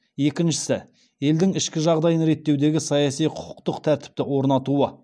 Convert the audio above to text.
екіншісі елдің ішкі жағдайын реттеудегі саяси құқықтық тәртіпті орнатуы